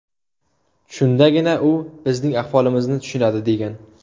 Shundagina u bizning ahvolimizni tushunadi”, degan.